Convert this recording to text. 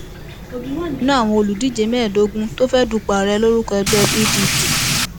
òbí wà nínú àwọn olùdíje mẹẹẹdógún tó fẹẹ dúpọ ààrẹ lórúkọ ẹgbẹ pdp